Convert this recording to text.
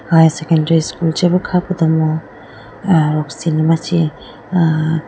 high secondary school chebi kha podo mo ruksin ma chee.